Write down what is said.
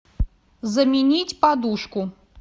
заменить подушку